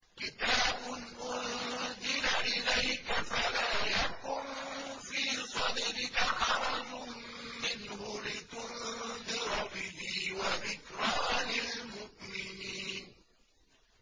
كِتَابٌ أُنزِلَ إِلَيْكَ فَلَا يَكُن فِي صَدْرِكَ حَرَجٌ مِّنْهُ لِتُنذِرَ بِهِ وَذِكْرَىٰ لِلْمُؤْمِنِينَ